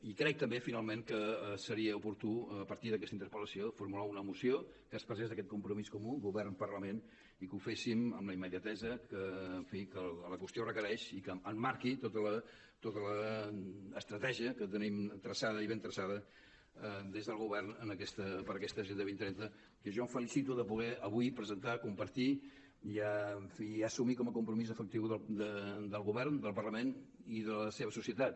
i crec també finalment que seria oportú a partir d’aquesta interpel·lació formular una moció que expressés aquest compromís comú govern parlament i que ho féssim amb la immediatesa que en fi la qüestió requereix i que emmarqui tota l’estratègia que tenim traçada i ben traçada des del govern per a aquesta agenda dos mil trenta que jo em felicito de poder avui presentar compartir i assumir com a compromís efectiu del govern del parlament i de la seva societat